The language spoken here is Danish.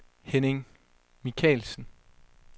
Henning Michaelsen